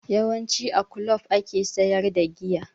Yawanci a kulob ake sayar da giya